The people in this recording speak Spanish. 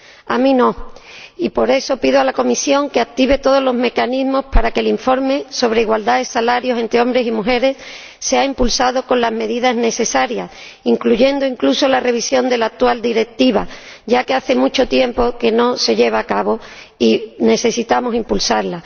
A mí no, y por eso pido a la Comisión que active todos los mecanismos para que el informe sobre igualdad y salarios entre hombres y mujeres sea impulsado con las medidas necesarias, incluyendo, incluso, la revisión de la actual Directiva, ya que hace mucho tiempo que no se revisa y necesitamos impulsarla.